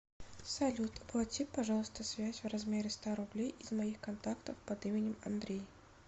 салют оплати пожалуйста связь в размере ста рублей из моих контактов под именем андрей